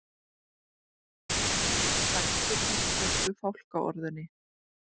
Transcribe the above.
Þá tók Veigar Páll vítaspyrnu í leiknum en brást bogalistin því skot hans fór yfir.